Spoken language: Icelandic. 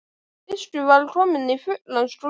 Biskup var kominn í fullan skrúða.